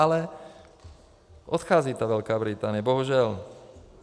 Ale odchází ta Velká Británie, bohužel.